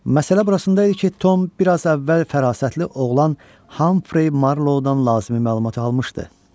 Məsələ burasında idi ki, Tom bir az əvvəl fərasətli oğlan Hamfrey Marlowdan lazımi məlumatı almışdı.